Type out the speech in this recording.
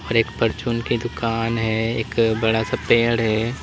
एक परचून की दुकान हैं एक बड़ा सा पेड है।